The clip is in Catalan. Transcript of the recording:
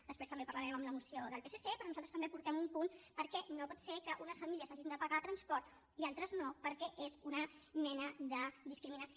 després també en parlarem amb la moció del psc però nosaltres també en portem un punt perquè no pot ser que unes famílies hagin de pagar transport i altres no perquè és una mena de discriminació